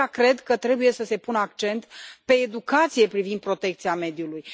De aceea, cred că trebuie să se pună accent pe educația privind protecția mediului.